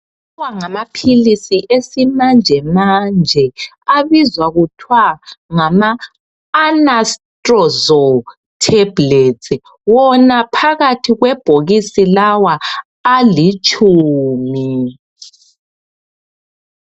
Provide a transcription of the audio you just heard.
Lawa ngamaphilisi esimanjemanje abizwa kuthwa ngama anastrozolu theblets. Wona phakathi kwebhokisi lawa alitshumi.